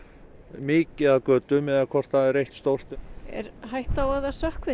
mikið af götum eða hvort það er eitt stórt er hætta á að það sökkvi